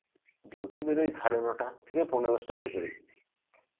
duty বেরই সাড়ে নটা থেকে পৌনে দশটার ভেতরেই.